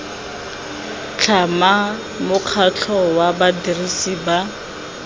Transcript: tlhama mokgatlho wa badirisi ba